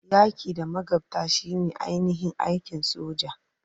Yaki da magabta shine ainihin aikin soja.